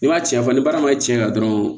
N'i ma cɛfara ma cɛn dɔrɔn